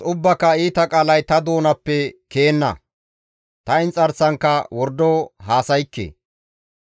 ubbaaka iita qaalay ta doonappe ke7enna; ta inxarsankka wordo haasaykke.